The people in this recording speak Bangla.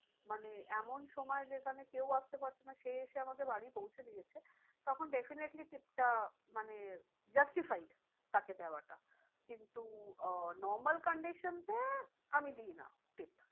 মানে এমন সময় সেখানে কেউ আসতে পারছে না সে এসে আমাকে বাড়ি পৌঁছে দিয়েছে। তখন definitely tips টা মানে justifyed তাকে দেওয়ার। কিন্তু আহ normal condition এ আমি দিই না। tip